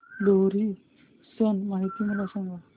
लोहरी सण माहिती सांगा